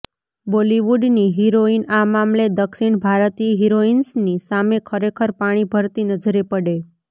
બોલીવુડની heroine આ મામલે દક્ષિણ ભારતીય હીરોઇન્સની સામે ખરેખર પાણી ભરતી નજરે પડે